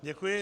Děkuji.